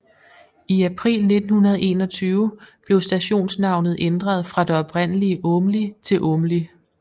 I april 1921 blev stationsnavnet ændret fra det oprindelig Aamli til Åmli